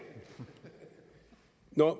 jeg